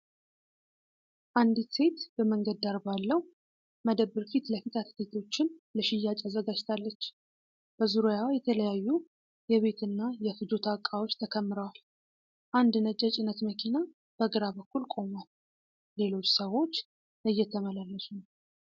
አንዲት ሴት በመንገድ ዳር ባለው መደብር ፊት ለፊት አትክልቶችን ለሽያጭ አዘጋጅታለች። በዙሪያዋ የተለያዩ የቤትና የፍጆታ ዕቃዎች ተከምረዋል። አንድ ነጭ የጭነት መኪና በግራ በኩል ቆሟል፤ ሌሎች ሰዎች እየተመላለሱ ነው።